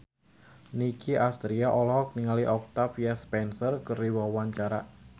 Nicky Astria olohok ningali Octavia Spencer keur diwawancara